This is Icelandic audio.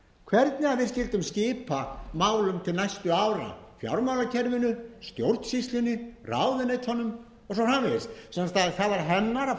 hvernig við skyldum skipa málum til næstu ára fjármálakerfinu stjórnsýslunni ráðuneytunum og svo framvegis sem sagt það var hennar að fara ofan